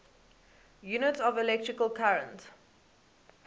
units of electrical current